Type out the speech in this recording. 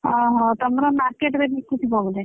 ଓହୋ! ତମର market ରେ ବିକୁଥିବ ବୋଧେ?